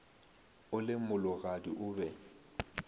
o le mologadi o be